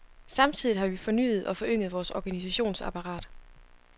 Samtidigt har vi fornyet og forynget vores organisationsapparat.